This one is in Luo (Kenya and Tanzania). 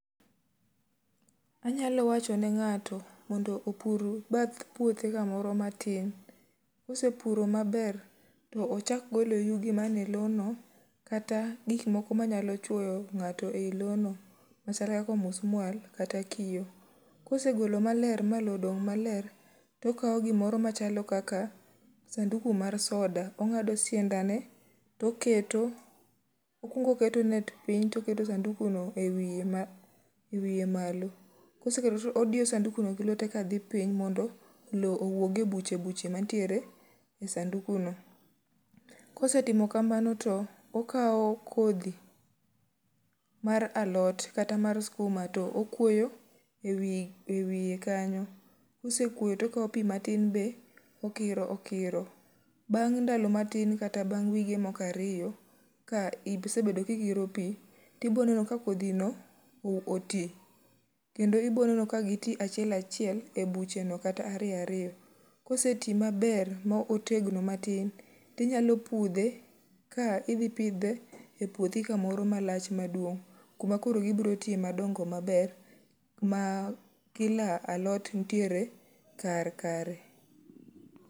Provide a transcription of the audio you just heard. Anyalo wacho ne ng'ato mondo opur bath puothe kamoro matin. Kosepuro maber, to ochak golo yugi mane lono kata gik moko manyalo chwoyo ng'ato ei lono, machal kaka omusmual kata kiyo. Kosegolo maler ma lo odong' maler, tokawo gimoro machalo kaka sanduku mar soda. Ong'ado siandane to keto, okuongo keto net piny toketo sanduku no e wiye ma , e wiye malo. Koseketo to odiyo sanduku no gi lwete kadhi piny mondo lo owuoge buche buche mantiere e sanduku no. Kosetimo kamano to okawo kodhi mar alot kata mar skuma to okwoyo e wiye kanyo. Kosekwoyo tokawo pi matin be okiro okiro. Bang' ndalo matin kata bang' wige moko ariyo, ka isebedo kikiro pi, tiboneno ka kodhi no oti. Kendo iboneno ka gi ti achiel achiel e buche no kata ariyo ariyo. Kose ti maber ma otegno matin, tinyalo pudhe ka idhi pidhe e puothi kamoro malach maduong'. Kuma koro gibro tiye madongo maber, ma kila alot nitiere kar kare.